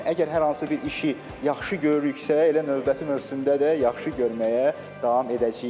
Əgər hər hansı bir işi yaxşı görürüksə, elə növbəti mövsümdə də yaxşı görməyə davam edəcəyik.